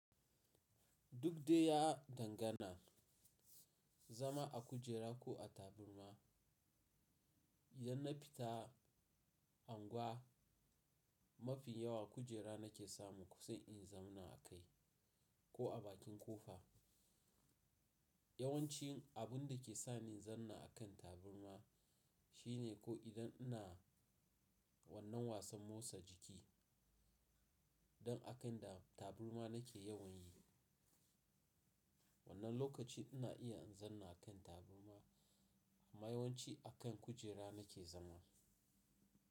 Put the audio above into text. Duk dai ya dangana, zama a kujera ko a taburma, idan na fita angwa mafi yawa kujera nake samu sai in zanna a kai ko a bakin kofa. Yawanci abun da ke sa ni zanna a kan taburma shine ko idan ina wannan wasan motsa jiki, don a kan da taburma nake yawan yi. Wannan lokaci ina iya in zanna kan taburma amma yawanci a kan kujera nake zama.